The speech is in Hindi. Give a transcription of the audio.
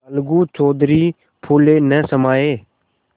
अलगू चौधरी फूले न समाये